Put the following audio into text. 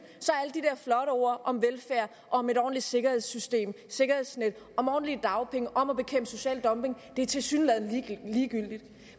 er ord om velfærd og om et ordentligt sikkerhedssystem sikkerhedsnet om ordentlige dagpenge om at bekæmpe social dumping tilsyneladende ligegyldige